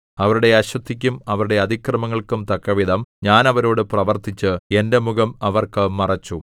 അവരുടെ അശുദ്ധിക്കും അവരുടെ അതിക്രമങ്ങൾക്കും തക്കവിധം ഞാൻ അവരോടു പ്രവർത്തിച്ച് എന്റെ മുഖം അവർക്ക് മറച്ചു